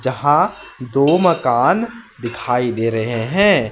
यहां दो मकान दिखाई दे रहे हैं।